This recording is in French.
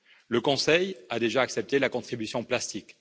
Le Conseil a déjà accepté la contribution plastique.